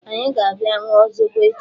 Anyị ga-abịa ṅụọ zobo echi.